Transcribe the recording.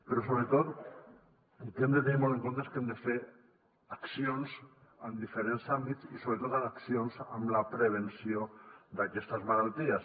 però sobretot el que hem de tenir molt en compte és que hem de fer accions en diferents àmbits i sobretot accions per a la prevenció d’aquestes malalties